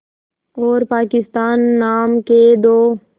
और पाकिस्तान नाम के दो